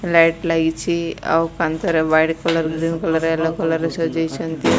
Light ଲାଗିଛି ଆଉ କାନ୍ଥରେ white colour red colour yellow colour ରେ ସଜେଇଛନ୍ତି।